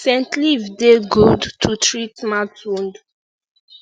scent leaf dey dey good to treat mouth wound